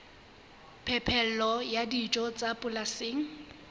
phepelo ya dijo tsa polasing